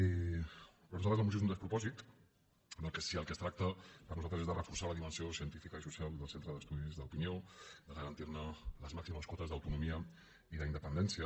per nosaltres la moció és un despropòsit si del que es tracta per nosaltres és de reforçar la dimensió científica i social del centre d’estudis d’opinió de garantir ne les màximes quotes d’autonomia i d’independència